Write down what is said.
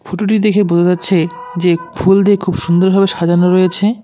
ফুটোটি দেখে বোঝা যাচ্ছে যে ফুল দিয়ে খুব সুন্দরভাবে সাজানো রয়েছে।